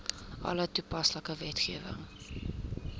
alle toepaslike wetgewing